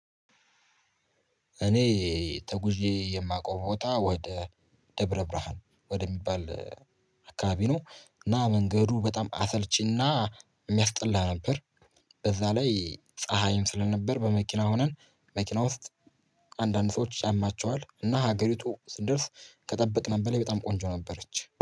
እኔ ተጉዤ የማውቀው ቦታ ወደ ደብረ ብርሃን ወደሚባል አካባቢ ነው እና መንገዱ በጣም አሰልቺና የሚያስጠላ ነበር። በዛ ላይ ፀሀይም ስለነበር በመኪና ሆነን መኪና ውስጥ አንዳንድ ሰዎች ያማቸዋል እና ሀገሪቱ ስንደርስ ከጠበቅናት በላይ በጣም ቆንጆ ነበረች